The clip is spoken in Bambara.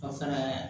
O fɛnɛ